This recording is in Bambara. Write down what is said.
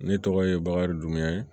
Ne tɔgɔ ye bakari duman ye